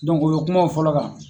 u bɛ kuma o fɔlɔ kan